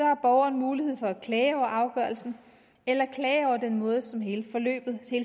har borgeren mulighed for at klage over afgørelsen eller den måde som hele